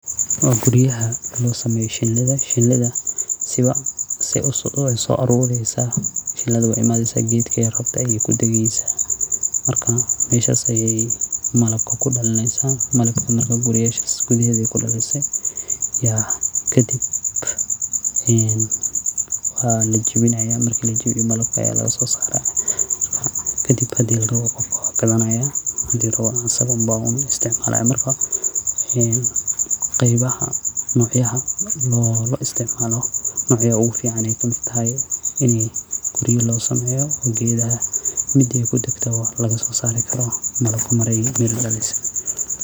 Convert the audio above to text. Waa aad oga muqda sawirka gaguraha shinida. Gobolka aan ku noolahay wuxuu leeyahay cimilo ku habboon koritaanka kaabajka sidoo kalena biyaha iyo ciidda waa kuwo taageeri kara. Haddii beeraleyda iska kaashadaan beeralaynta kaabajka oo ay helaan tababar iyo suuq toos ah wax badan bay ka faa’iideyn karaan. Kobcinta kaabajka waa fursad fiican oo aan u arko mid ganacsi ahaan lagu guuleysan karo.